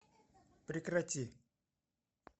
прекрати